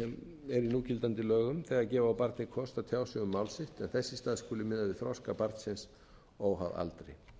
sem er í núgildandi lögum þegar gefa á barni kost á að tjá sig um mál sitt en þess í stað skuli miða við þroska barnsins óháð aldri